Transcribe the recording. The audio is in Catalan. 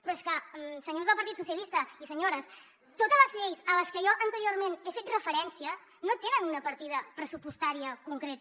però és que senyors del partit socialista i senyores totes les lleis a les que jo anteriorment he fet referència no tenen una partida pressupostària concreta